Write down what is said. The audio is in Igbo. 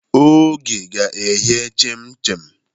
Oge ga-eghe chim-chim.